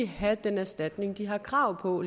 have den erstatning de har krav på